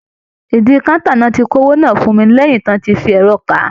Ìdí káńtà ni wọ́n ti kó oweó náà fún mi lẹ́yìn tí wọ́n ti fi ẹ̀rọ kà á